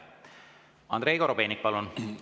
Andrei Korobeinik, palun!